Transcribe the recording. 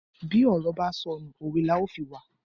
Bí ọ̀rọ̀ ba sọnù, òwe la ó fi wa.